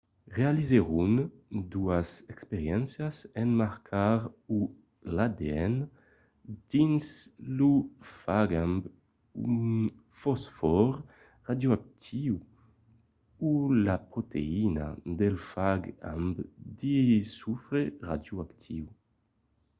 realizèron doas experiéncias en marcar o l'adn dins lo fag amb un fosfòr radioactiu o la proteïna del fag amb de sofre radioactiu